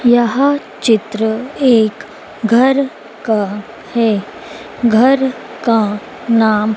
यह चित्र एक घर का है घर का नाम--